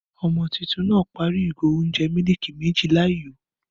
Ọmọ tuntun náà parí ìgò óúnjẹ miliki méjì láì yó